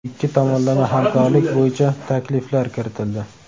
ikki tomonlama hamkorlik bo‘yicha takliflar kiritildi.